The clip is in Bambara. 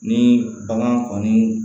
Ni bagan kɔni